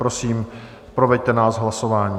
Prosím, proveďte nás hlasováním.